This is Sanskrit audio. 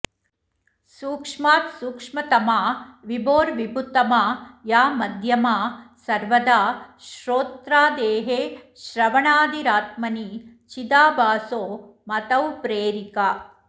सूक्ष्मात् सूक्ष्मतमा विभोर्विभुतमा या मध्यमा सर्वदा श्रोत्रादेः श्रवणादिरात्मनि चिदाभासो मतौ प्रेरिका